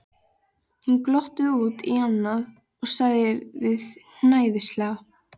Hún glotti út í annað og sagði svo hæðnislega